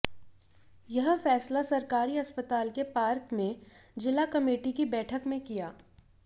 यह फैसला सरकारी अस्पताल के पार्क में जिला कमेटी की बैठक में किया